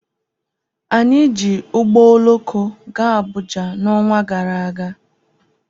Anyị ji ụgbọ oloko gaa Abụja n' ọnwa gara aga